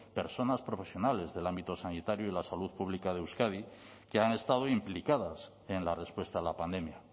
personas profesionales del ámbito sanitario y de la salud pública de euskadi que han estado implicadas en la respuesta a la pandemia